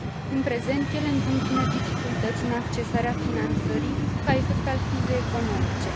În prezent, ele întâmpină dificultăți în accesarea finanțării, ca efect al crizei economice.